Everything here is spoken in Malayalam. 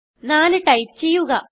4 ടൈപ്പ് ചെയ്യുക